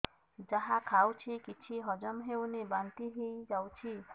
ଯାହା ଖାଉଛି କିଛି ହଜମ ହେଉନି ବାନ୍ତି ହୋଇଯାଉଛି